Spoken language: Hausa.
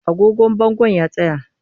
Agogon bangon ya tsaya